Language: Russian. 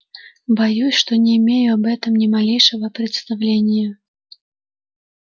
боюсь что не имею об этом ни малейшего представления